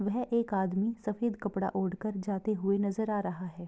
वह एक अदमी सफ़ेद कपड़ा ओढ़ कर जाते हुए नजर आ रहा है।